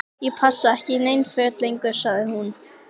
Ég passa ekki í nein föt lengur- sagði hún.